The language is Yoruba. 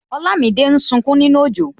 Olamide ń sunkún nínú ojo